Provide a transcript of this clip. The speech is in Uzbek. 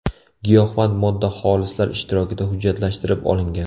Giyohvand modda xolislar ishtirokida hujjatlashtirilib olingan.